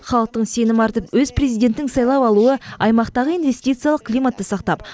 халықтың сенім артып өз президентін сайлап алуы аймақтағы инвестициялық климатты сақтап